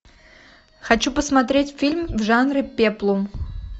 хочу посмотреть фильм в жанре пеплум